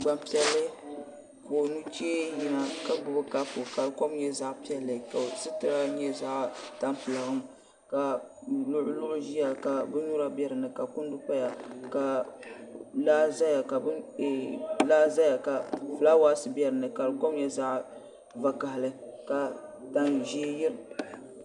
Gbanpiɛlli ka o nuchee yina ka gbubi kapu ka di kom nyɛ zaɣ piɛlli ka o sitira nyɛ zaɣ tampilim ka luɣuluɣu ʒiya ka binnyura bɛ dinni ka kundi paya ka laa ʒɛya ka fulaawaasi bɛ dinni ka di kom nyɛ zaɣ vakaɣili ka tan ʒiɛ yirina